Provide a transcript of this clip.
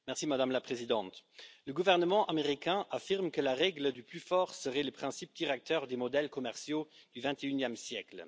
Madame la Présidente, le gouvernement américain affirme que la règle du plus fort serait le principe directeur des modèles commerciaux du XXIe siècle.